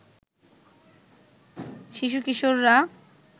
শিশু-কিশোররা